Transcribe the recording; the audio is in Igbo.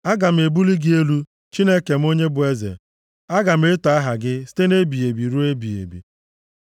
Aga m ebuli gị elu, Chineke m onye bụ eze; aga m eto aha gị, site nʼebighị ebi ruo ebighị ebi.